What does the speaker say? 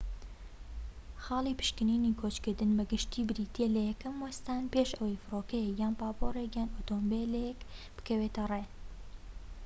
خاڵی پشکنینی کۆچکردن بە گشتی بریتیە لە یەکەم وەستان پێش ئەوەی فرۆکەیەک یان پاپۆرێك یان ئۆتۆمبیلێك بکەوێتە ڕێ